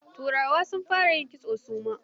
Turawa sun fara yin kitso su ma.